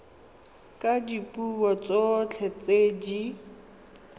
ka dipuo tsotlhe tse di